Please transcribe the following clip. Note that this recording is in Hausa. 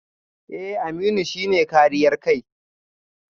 Eh Aminu shi ne kariyar kai